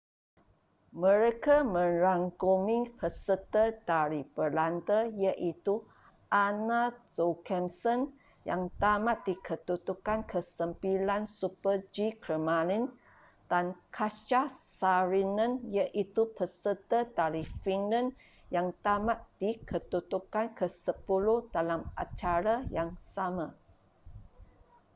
mereka merangkumi peserta dari belanda iaitu anna jochemsen yang tamat di kedudukan ke sembilan super-g kelmarin dan katja saarinen iaitu peserta dari finland yang tamat di kedudukan ke sepuluh dalam acara yang sama